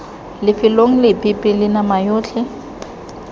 lefelong lepe pele nama yotlhe